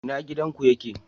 ina gidan ku yake?